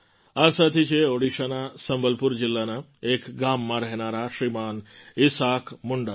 આ સાથી છે ઓડિશાના સંબલપુર જિલ્લાના એક ગામમાં રહેનારા શ્રીમાન ઈસાક મુંડા જી